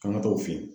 K'an ka t'o fɛ yen